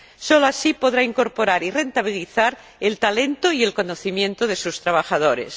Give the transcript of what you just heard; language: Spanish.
Solo así podra incorporar y rentabilizar el talento y el conocimiento de sus trabajadores.